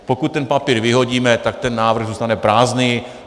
Pokud ten papír vyhodíme, tak ten návrh zůstane prázdný.